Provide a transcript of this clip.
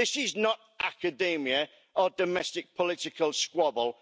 This is not academia or a domestic political squabble,